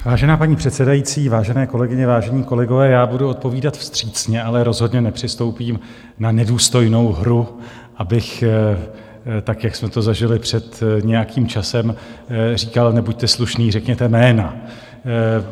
Vážená paní předsedající, vážené kolegyně, vážení kolegové, já budu odpovídat vstřícně, ale rozhodně nepřistoupím na nedůstojnou hru, abych tak, jak jsme to zažili před nějakým časem, říkal: Nebuďte slušný, řekněte jména!